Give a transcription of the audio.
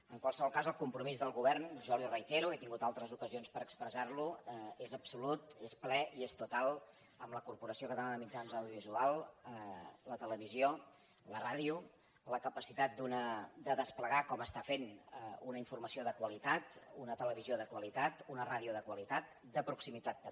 en qualsevol cas el compromís del govern jo li ho reitero he tingut altres ocasions per expressar ho és absolut és ple i és total amb la corporació catalana de mitjans audiovisuals la televisió la ràdio la capacitat de desplegar com ho està fent una informació de qualitat una televisió de qualitat una ràdio de qualitat de proximitat també